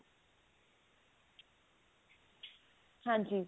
ਹਾਂਜੀ